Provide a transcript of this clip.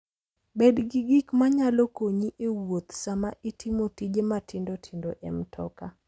Bed gi gik manyalo konyi e wuoth sama itimo tije matindo tindo e mtoka.